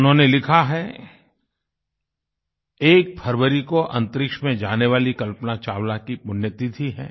उन्होंने लिखा है 1 फरवरी को अन्तरिक्ष में जाने वाली कल्पना चावला की पुण्य तिथि है